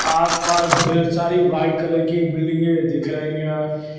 आसपास ढ़ेर सारी व्हाइट कलर की बिल्डिंगे दिख रही हैं।